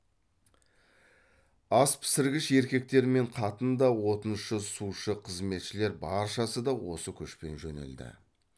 ас пісіргіш еркектер мен қатын да отыншы сушы қызметшілер баршасы да осы көшпен жөнелді